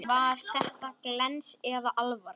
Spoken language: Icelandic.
Var þetta glens eða alvara?